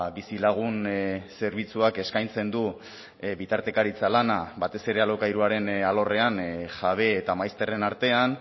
bizilagun zerbitzuak eskaintzen du bitartekaritza lana batez ere alokairuaren alorrean jabe eta maizterren artean